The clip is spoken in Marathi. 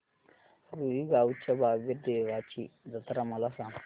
रुई गावच्या बाबीर देवाची जत्रा मला सांग